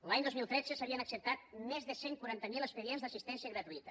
l’any dos mil tretze s’havien acceptat més de cent i quaranta miler expedients d’assistència gratuïta